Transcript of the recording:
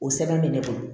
O sɛbɛn bɛ ne bolo